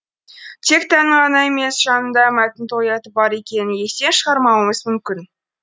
тек тәннің ғана емес жанның да мәтін тояты бар екенін естен шығармауымыз мүмкін